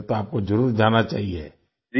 ओह फिर तो आपको जरुर जाना चाहिए